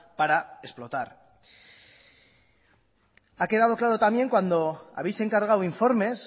para explotar ha quedado claro también cuando habéis encargado informes